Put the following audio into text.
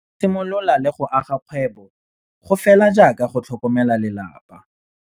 Go simolola le go aga kgwebo go fela jaaka go tlhokomela lelapa.